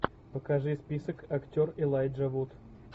покажи список актер элайджа вуд